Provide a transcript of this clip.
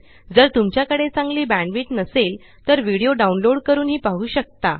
जर तुमच्याकडे चांगली बॅण्डविड्थ नसेल तर व्हिडीओ डाउनलोड करूनही पाहू शकता